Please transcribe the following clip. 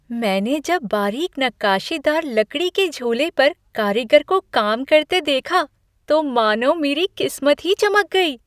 मैंने जब बारीक नक्काशीदार लकड़ी के झूले पर कारीगर को काम करते देखा, तो मानो मेरी किस्मत ही चमक गई ।